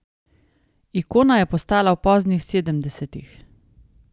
Ikona je postala v poznih sedemdesetih.